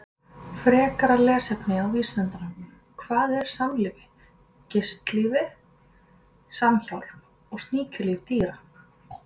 Frekara lesefni á Vísindavefnum: Hvað er samlífi, gistilífi, samhjálp og sníkjulíf dýra?